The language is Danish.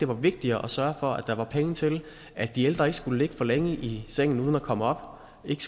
vigtigere at sørge for at der er penge til at de ældre ikke skal ligge for længe i sengen uden at komme op ikke